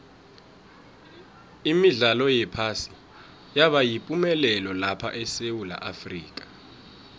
imidlalo yephasi yaba yipumelelo lapha esewula afrika